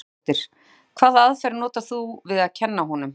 Ingveldur Geirsdóttir: Hvaða aðferð notar þú við að kenna honum?